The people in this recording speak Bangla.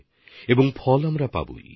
তাহলে ফল তো অবশ্যই পাবো